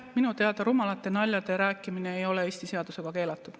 Minu teada rumalate naljade rääkimine ei ole Eestis seadusega keelatud.